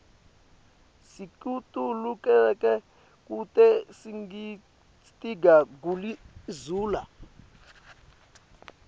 sikitululeke kute sitiga guli zula